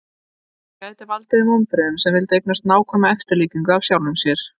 það gæti valdið þeim vonbrigðum sem vildu eignast nákvæma eftirlíkingu af sjálfum sér